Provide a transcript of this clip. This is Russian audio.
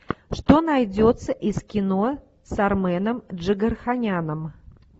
что найдется из кино с арменом джигарханяном